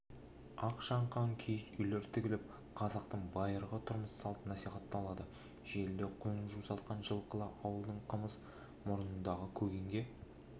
ақшаңқан киіз үйлер тігіліп қазақтың байырғы тұрмыс-салты насихатталады желіде құлын жусатқан жылқылы ауылдың қымыз мұрындығы көгенге